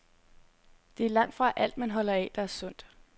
Det er langtfra alt, man holder af, der er sundt.